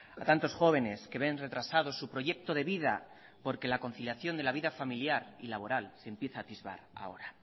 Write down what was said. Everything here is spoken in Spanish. a tantos jóvenes que ven retrasados su proyecto de vida porque la conciliación de la vida familiar y laboral se empieza a atisbar ahora